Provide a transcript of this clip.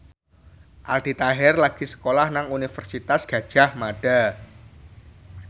Aldi Taher lagi sekolah nang Universitas Gadjah Mada